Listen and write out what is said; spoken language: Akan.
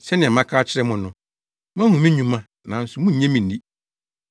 Sɛnea maka akyerɛ mo no, moahu me nnwuma, nanso munnye me nni.